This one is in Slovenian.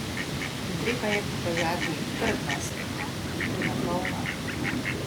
Treba je pokazati trdnost, iti na polno ...